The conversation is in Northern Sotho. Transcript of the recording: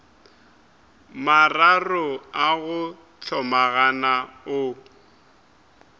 mararo a go hlomagana o